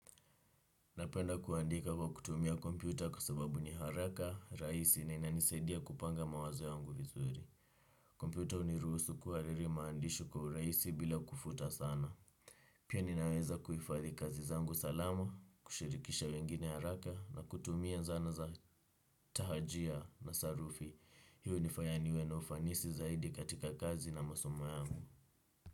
Napenda kuandika kwa kutumia kompyuta kwa sababu ni haraka, rahisi na inanisaidia kupanga mawazo yangu vizuri. Kompyuta hunirusu kuhariri maandishi kwa urahisi bila kufuta sana. Pia ninaweza kuhifadhi kazi zangu salama, kushirikisha wengine haraka na kutumia zana za tahajia na sarufi. Hiyo hunifanya niwe na ufanisi zaidi katika kazi na masomo yangu.